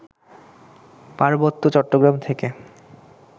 পার্বত্য চট্টগ্রাম থেকে